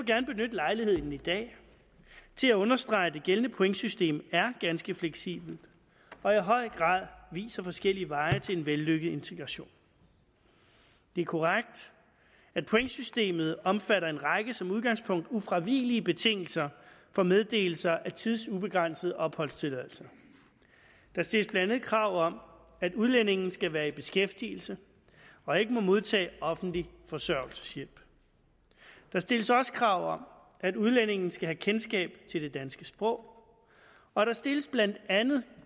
gerne benytte lejligheden i dag til at understrege at det gældende pointsystem er ganske fleksibelt og i høj grad viser forskellige veje til en vellykket integration det er korrekt at pointsystemet omfatter en række som udgangspunkt ufravigelige betingelser for meddelelse af tidsubegrænset opholdstilladelse der stilles blandt andet krav om at udlændingen skal være i beskæftigelse og ikke må modtage offentlig forsørgelseshjælp der stilles også krav om at udlændingen skal have kendskab til det danske sprog og der stilles blandt andet